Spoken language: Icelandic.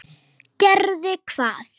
Gerði hvað?